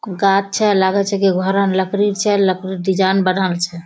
गाछ छे लागे छे की घरा में लकड़ी छे। लकड़ी डिजाइन बनावल छे।